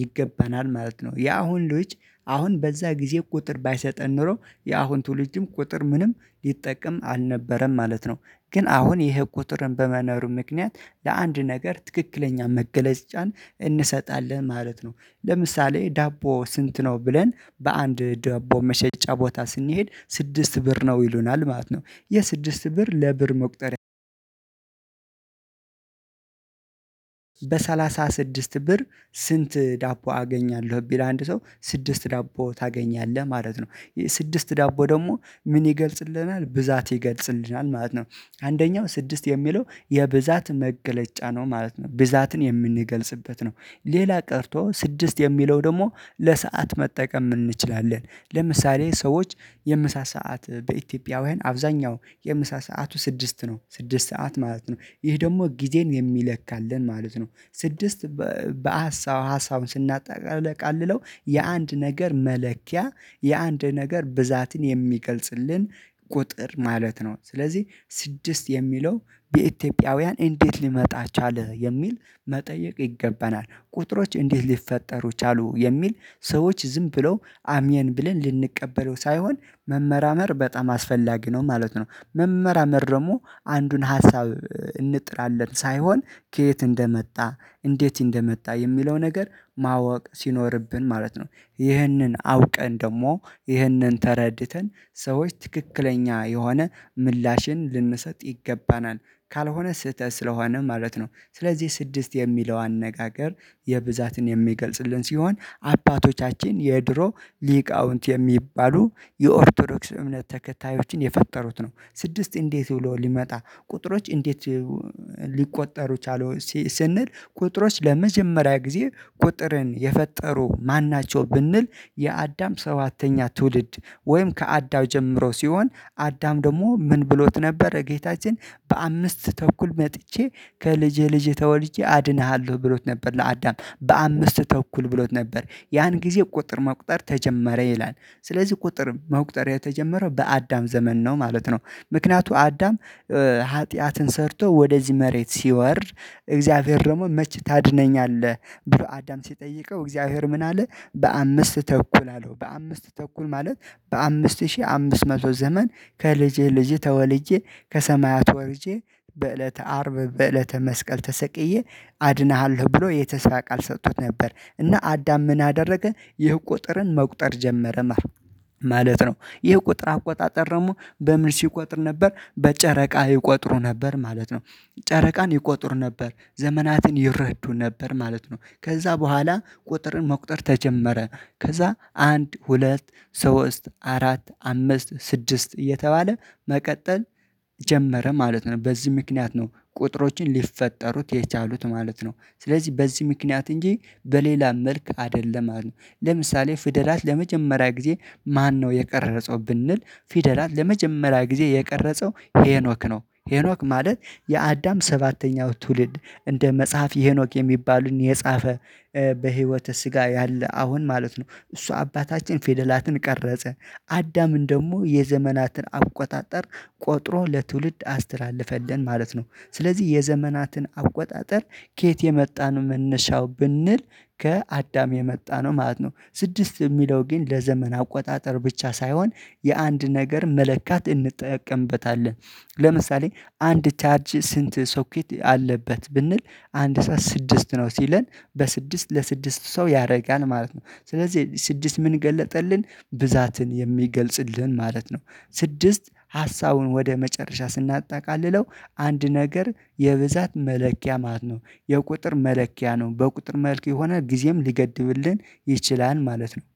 ይገባናል ማለት ነው። የአሁን ልጅ አሁን በዛ ጊዜ ቁጥር ባይሰጠን ኖሮ የአሁን ትውልድም ቁጥር ምንም ሊጠቀም አልነበረም ማለት ነው። ግን አሁን ይሄ ቁጥር በመኖሩ ምክንያት ለአንድ ነገር ትክክለኛ መገለጫን እንሰጣለን ማለት ነው። ለምሳሌ ዳቦ ስንት ነው? ብለን በአንድ ዳቦ መሸጫ ቦታ ስንሄድ ስድስት ብር ነው ይሉናል ማለት ነው። የስድስት ብር ለብር መቁጠር። በሰላሳ ስድስት ብር ስንት ዳቦ አገኛለሁ? ቢል አንድ ሰው ስድስት ዳቦ ታገኛለህ ማለት ነው። ስድስት ዳቦ ደግሞ ምን ይገልጽልናል ብዛት ይገልጽልናል ማለት ነው። አንደኛው ስድስት የሚለው የብዛት መገለጫ ነው ማለት ነው ብዛትን የምንገልጽበት ነው። ሌላ ቀርቶ ስድስት የሚለው ደግሞ ለሰአት መጠቀም እንችላለን። ለምሳሌ ሰዎች የምሳ ሰዓት በኢትዮጵያውያን አብዛኛው የምሳ ሰዓቱ ስድስት ነው ስድስት ሰዓት ማለት ነው። ይሄ ደግሞ ጊዜን የሚለካልን ማለት ነው። ስድስት በሀሳብ ሀሳቡን ስናጠቃልለው የአንድ ነገር መለኪያ የአንድ ነገር ብዛትን የሚገልጽልን ቁጥር ማለት ነው። ስለዚህ ስድስት የሚለው የኢትዮጵያውያን እንዴት ሊመጣ ቻለ የሚል መጠየቅ ይገባናል። ቁጥሮች እንዴት ሊፈጠሩ ቻሉ የሚል ሰዎች ዝም ብለው አሚን ብለን ልንቀበለው ሳይሆን መመራመር በጣም አስፈላጊ ነው። ማለት ነው። መመራመር ደግሞ አንዱን ሀሳብ እንጥላለን ሳይሆን ከየት እንደመጣ እንዴት እንደመጣ የሚለው ነገር ማወቅ ሲኖርብን ማለት ነው። ይህንን አውቀን ደግሞ ይህንን ተረድተን ሰዎች ትክክለኛ የሆነ ምላሽን ልንሰጥ ይገባናል። ካልሆነ ስህተት ስለሆነ ማለት ነው። ስለዚህ ስድስት የሚለው አነጋገር የብዛትን የሚገልጽልን ሲሆን አባቶቻችን የድሮ ሊቃውንት የሚባሉ የኦርቶዶክስ እምነት ተከታዮችን የፈጠሩት ነው። ስድስት እንዴት ብሎ ሊመጣ ቁጥሮች እንዴት ሊቆጠሩ ቻሉ። ስንል ቁጥሮች ለመጀመሪያ ጊዜ ቁጥርን የፈጠሩ ማን ናቸው? ብንል የአዳም ሰባተኛ ትውልድ ወይም ከአዳም ጀምሮ ሲሆን አዳም ደግሞ ምን ብሎት ነበር? ጌታችን በአምስት ተኩል መጥቼ ከልጅህ ልጅህ ተወድጄ አድንሃለሁ ብሎት ለአዳም በአምስት ተኩል ብሎት ነበር ያን ጊዜ ቁጥር መቁጠር ተጀመረ ይላል። ስለዚህ ቁጥር መቁጠር የተጀመረው በአዳም ዘመን ነው ማለት ነው። ምክንያቱም አዳም ኃጢአትን ሰርቶ ወደዚህ መሬት ሲወርድ። እግዚአብሔር ደግሞ መች ታድነኛለህ ብሎ አዳም ሲጠይቀው እግዚአብሔር ምን አለ በአምስት ተኩል አለው። በአምስት ተኩል ማለት በአምስት ሺህ አምስት መቶ ዘመን ከልጅህ ልጅህ ተወልጄ ከሰማያት ወርጄ በእለተ አርብ በእለተ መስቀል ተሰቅዬ አድነሃለሁ ብሎ የተስፋ ቃል ሰጥቶት ነበር እና አዳም ምን አደረገ ይህ ቁጥርን መቁጠር ጀመረ። ማለት ነው። ይህ ቁጥር አቆጣጠር ደግሞ በምን ሲቆጥር ነበር በጨረቃ ይቆጥሩ ነበር ማለት ነው። ጨረቃን ይቆጥሩ ነበር ዘመናትን ይረዱ ነበር ማለት ነው። ከዛ በኋላ ቁጥርን መቁጠር ተጀመረ። ከዛ አንድ ሁለት ሶስት አራት አምስት ስድስት እየተባለ መቀጠል ጀመረ ማለት ነው። በዚህ ምክንያት ነው ቁጥሮችን ሊፈጠሩት የቻሉት ማለት ነው። ስለዚህ በዚህ ምክንያት እንጂ በሌላ መልኩ አይደለም ማለት ነው። ለምሳሌ ፍደላት ለመጀመሪያ ጊዜ ማነው የቀረጸው? ብንል ፊደላት ለመጀመሪያ ጊዜ የቀረጸው ሄኖክ ነው። ሄኖክ ማለት የአዳም ሰባተኛው ትውልድ እንደ መጽሐፈ ሄኖክ የሚባልን የጻፈ በህይወተ ስጋ ያለ አሁን ማለት ነው። እሱ አባታችን ፊደላትን ቀረጸ። አዳምን ደግሞ የዘመናትን አቆጣጠር ቆጥሮ ለትውልድ አስተላለፈልን ማለት ነው። ስለዚህ የዘመናትን አቆጣጠር ከየት የመጣ ነው? መነሻው ብንል ከአዳም የመጣነው ማለት ነው። ስድስት የሚለው ግን ለዘመን አቆጣጠር ብቻ ሳይሆን የአንድ ነገር መለካት እንጠቀምበታለን። ለምሳሌ አንድ ቻርጅ ስንት ሶኪት አለበት ብንል? አንድ ሰው ስድስት ነው ሲለን በስድስት ለስድስት ሰው ያደርጋል ማለት ነው። ስለዚህ ስድስት ምን ገለጠልን ብዛትን የሚገልጽልን ማለት ነው። ስድስት ሀሳቡን ወደ መጨረሻ ስናጣቃልለው አንድ ነገር የብዛት መለኪያ ማለት ነው። የቁጥር መለኪያ ነው በቁጥር መልክ የሆነ ጊዜም ሊገድብልን ይችላል ማለት ነው።